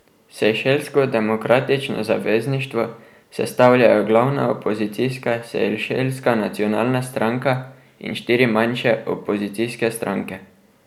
Sejšelsko demokratično zavezništvo sestavljajo glavna opozicijska Sejšelska nacionalna stranka in štiri manjše opozicijske stranke.